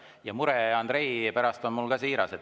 Ja mure Andrei pärast on mul siiras.